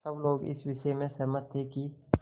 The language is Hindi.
सब लोग इस विषय में सहमत थे कि